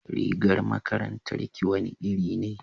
rigar makarantar ki wani iri ne